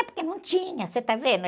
É porque não tinha, você está vendo?